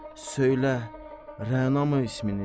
Söylə, Rənamı isminiz?